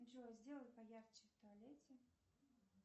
джой сделай поярче в туалете